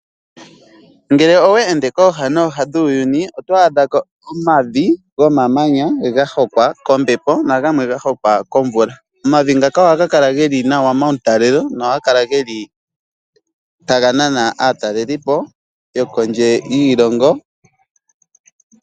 Ngele oweende kooha nooha dhuuyuni oto adha ko omavi gahokwa kombepo nagamwe gahokwa komvula. Omavi ngaka ohaga kala geli nawa pautalelo, nohaga kala taga nana aataleliipo yokondje yoshilongo.